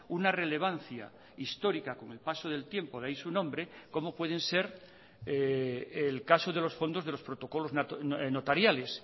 una relevancia histórica con el paso del tiempo de ahí su nombre como pueden ser el caso de los fondos de los protocolos notariales